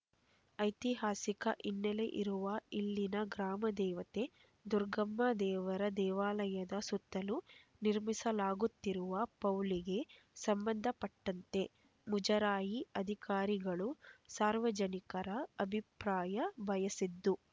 ಐತಿಹಾಸಿಕ ಹಿನ್ನೆಲೆ ಇರುವ ಇಲ್ಲಿನ ಗ್ರಾಮದೇವತೆ ದುರ್ಗಮ್ಮ ದೇವರ ದೇವಾಲಯದ ಸುತ್ತಲೂ ನಿರ್ಮಿಸಲಾಗುತ್ತಿರುವ ಪೌಳಿಗೆ ಸಂಬಂಧಪಟ್ಟಂತೆ ಮುಜರಾಯಿ ಅಧಿಕಾರಿಗಳು ಸಾರ್ವಜನಿಕರ ಅಭಿಪ್ರಾಯ ಬಯಸಿದ್ದು